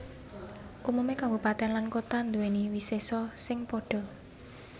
Umumé kabupatèn lan kota nduwé wisésa sing padha